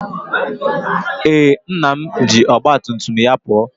Ee, nna m ji ọgba tum tum ya pụọ